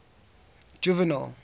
juvenal